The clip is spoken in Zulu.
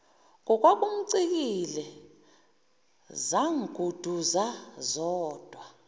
ngokwakumcikile zangunduza zodwa